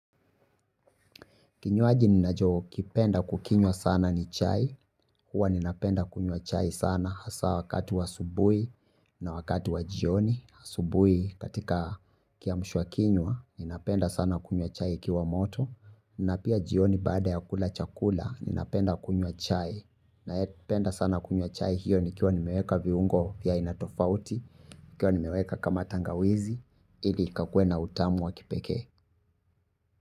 Kinywaji ninacho kipenda kukinywa sana ni chai, huwa nina penda kunywa chai sana hasa wakati wa asubui na wakati wa jioni, asubui katika kiamsha kinywa, nina penda sana kunywa chai ikiwa moto, na pia jioni baada ya kula chakula, nina penda kunywa chai, na yependa sana kunywa chai hiyo ni kio nimeweka viungo ya inatofauti, kio nimeweka kama tangawizi, ili kakue na utamu wa kipeke.